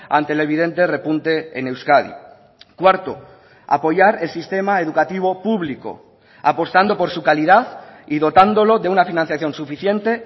ante el evidente repunte en euskadi cuarto apoyar el sistema educativo público apostando por su calidad y dotándolo de una financiación suficiente